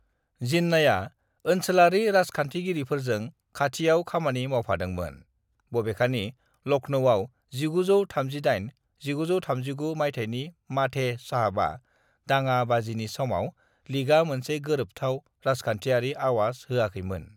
"जिन्नाया ओनसोलारि राजखान्थिगिरिफोरजों खाथियाव खामानि मावफादोंमोन, बबेखानि लखनौआव 1938-1939 मायथाइनि माधे साहबा दाङा-बाजिनि समाव लीगआ मोनसे गोरोबथाव राजखान्थियारि आवाज होआखैमोन।"